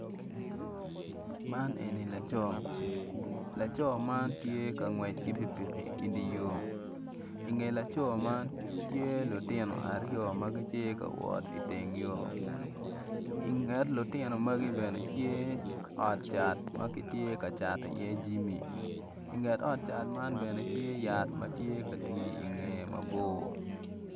Man eni laco laco man tye ka ngwec ki piki idye yo inge laco man tye lutino aryo ma gitye ka wot iteng yo inget lutino magi bene tye ot cat ma kitye ka cato iye jami inget ot cat man bene tye yat ma tye ka twii ingeye mabor